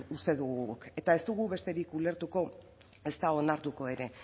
uste dugu guk eta ez dugu besterik ulertuko ezta onartuko ere